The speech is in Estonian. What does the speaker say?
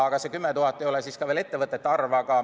Aga see 10 000 ei ole ettevõtete arv.